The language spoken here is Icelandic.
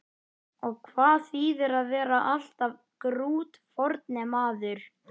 Og hvað þýðir að vera alltaf grútfornemaður?